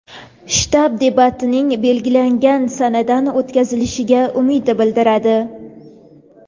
shtab debatning belgilangan sanada o‘tkazilishiga umid bildiradi.